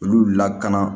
Olu lakana